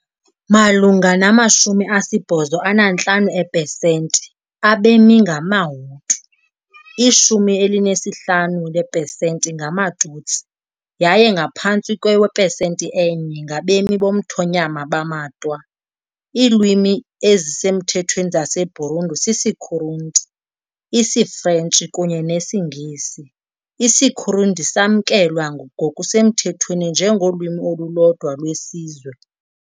Malunga nama-85 eepesenti abemi bangamaHutu, i-15 ngeepesenti ngamaTutsi, yaye ngaphantsi kwepesenti enye ngabemi bomthonyama bamaTwa . Iilwimi ezisemthethweni zaseBurundi sisiKirundi, isiFrentshi, kunye nesiNgesi, isiKirundi samkelwa ngokusemthethweni njengolwimi olulodwa lwesizwe.